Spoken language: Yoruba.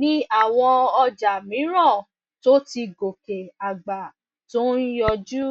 ní àwọn ọjà mìíràn tó ti gòkè àgbà tó ń yọjú